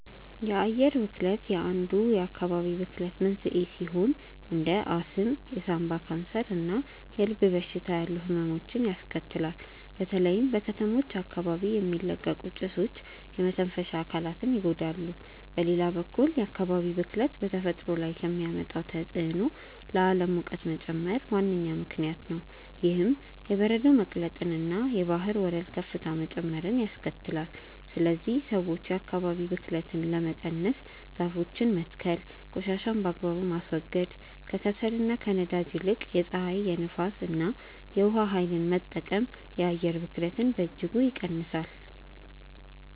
የአየር ብክለት አንዱ የአካባቢ ብክለት መንስኤ ሲሆን እንደ አስም፣ የሳምባ ካንሰር እና የልብ በሽታ ያሉ ህመሞችን ያስከትላል። በተለይም በከተሞች አካባቢ የሚለቀቁ ጭሶች የመተንፈሻ አካላትን ይጎዳሉ። በሌላ በኩል የአካባቢ ብክለት በተፈጥሮ ላይ ከሚያመጣው ተጽዕኖ ለዓለም ሙቀት መጨመር ዋነኛ ምክንያት ነው። ይህም የበረዶ መቅለጥንና የባህር ወለል ከፍታ መጨመርን ያስከትላል። ስለዚህ ሰዎች የአካባቢን ብክለት ለመቀነስ ዛፎችን መትከል ቆሻሻን በአግባቡ ማስወገድ፣ ከከሰልና ከነዳጅ ይልቅ የፀሐይ፣ የንፋስ እና የውሃ ኃይልን መጠቀም የአየር ብክለትን በእጅጉ ይቀንሳል።